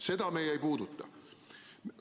Seda meie ei puuduta.